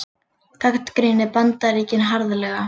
Gagnrýna Bandaríkin harðlega